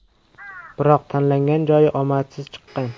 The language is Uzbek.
Biroq tanlagan joyi omadsiz chiqqan.